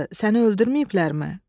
Səni öldürməyiblərmi?"